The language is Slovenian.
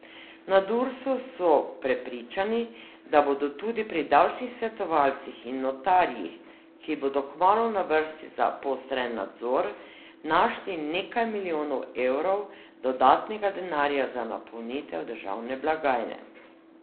Na Dursu so prepričani, da bodo tudi pri davčnih svetovalcih in notarjih, ki bodo kmalu na vrsti za poostreni nadzor, našli nekaj milijonov evrov dodatnega denarja za napolnitev državne blagajne.